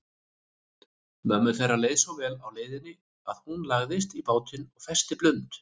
Mömmu þeirra leið svo vel á leiðinni að hún lagðist í bátinn og festi blund.